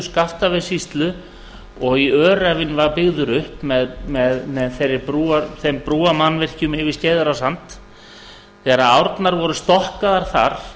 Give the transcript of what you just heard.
skaftafellssýslu og í öræfin var byggður upp með þeim brúarmannvirkjum yfir skeiðarársand þegar árnar voru stokkaðar þar